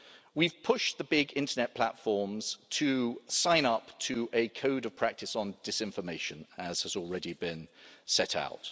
We've pushed the big Internet platforms to sign up to a code of practice on disinformation, as has already been set out.